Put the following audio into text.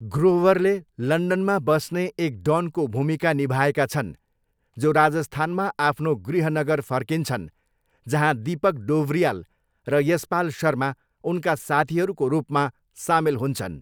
ग्रोवरले लन्डनमा बस्ने एक डनको भूमिका निभाएका छन् जो राजस्थानमा आफ्नो गृहनगर फर्किन्छन् जहाँ दिपक डोबरियाल र यसपाल शर्मा उनका साथीहरूको रूपमा सामेल हुन्छन्।